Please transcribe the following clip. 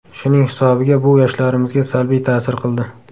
Shuning hisobiga bu yoshlarimizga salbiy ta’sir qildi.